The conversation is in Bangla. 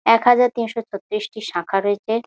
একহাজার তিনশো ছত্রিশ টি শাখা রয়েছে।